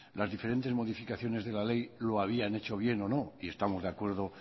las diferentes modificaciones de la ley lo habían hecho bien o no y estamos de acuerdo